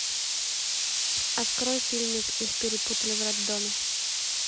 открой фильмик их перепутали в роддоме